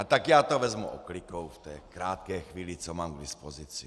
A tak já to vezmu oklikou v té krátké chvíli, co mám k dispozici.